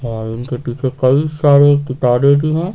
और उनके पीछे कई सारे किताबें भी हैं।